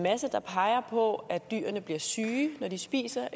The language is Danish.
masse der peger på at dyrene bliver syge når de spiser